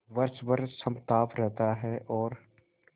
वर्ष भर समताप रहता है और